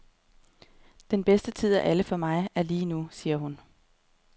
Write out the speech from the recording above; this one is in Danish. Den bedste tid af alle for mig, er lige nu, siger hun.